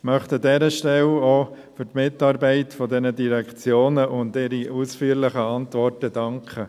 Ich möchte an dieser Stelle auch für die Mitarbeit dieser Direktionen und für die ausführlichen Antworten danken.